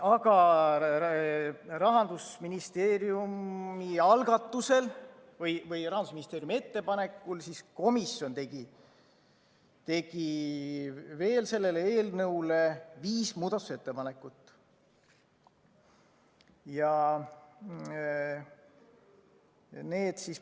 Aga Rahandusministeeriumi algatusel või ettepanekul tegi komisjon veel selle eelnõu kohta viis muudatusettepanekut.